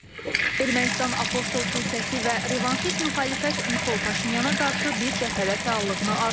Ermənistan Apostol Kilsəsi və revanşist müxalifət Nikol Paşinyana qarşı bir cəbhədə fəallığını artırır.